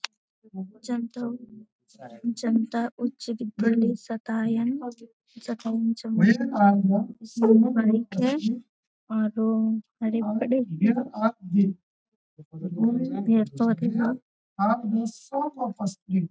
जन्तु जनता उच्च विद्यालय सतायन और हरे भरे पेड़-पौधे हैं ।